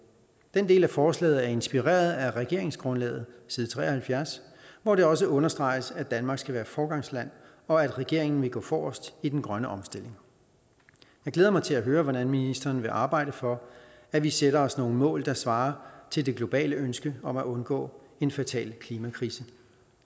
den del af forslaget er inspireret af regeringsgrundlaget side tre og halvfjerds hvor det også understreges at danmark skal være foregangsland og at regeringen vil gå forrest i den grønne omstilling jeg glæder mig til at høre hvordan ministeren vil arbejde for at vi sætter os nogle mål der svarer til det globale ønske om at undgå en fatal klimakrise